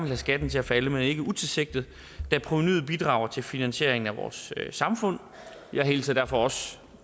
have skatten til at falde men ikke utilsigtet da provenuet bidrager til finansieringen af vores samfund jeg hilser derfor også